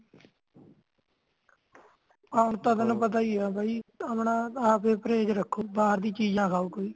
ਆ ਹੁਣ ਤਾ ਤੈਨੂੰ ਪਤਾ ਇ ਆ ਬਾਈ ਅਪਣਾ ਆਪ ਈ ਪ੍ਰੇਜ ਰੱਖੋ ਬਾਹਰ ਦੀ ਚੀਜ ਨਾ ਖਾਓ ਕੋਈ